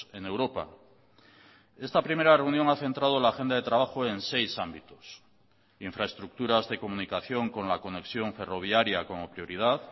en europa esta primera reunión ha centrado la agenda de trabajo en seis ámbitos infraestructuras de comunicación con la conexión ferroviaria como prioridad